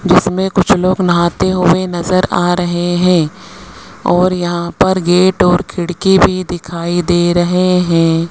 इसमें कुछ लोग नहाते हुए नजर आ रहे हैं और यहां पर गेट और खिड़की भी दिखाई दे रहे हैं।